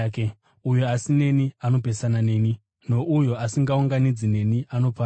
“Uyo asineni anopesana neni, nouyo asingaunganidzi neni anoparadza.